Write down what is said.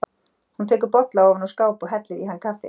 Hún tekur bolla ofan úr skáp og hellir í hann kaffi.